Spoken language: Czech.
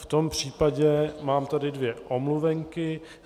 V tom případě tady mám dvě omluvenky.